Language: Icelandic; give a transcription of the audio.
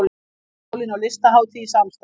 Háskólinn og Listahátíð í samstarf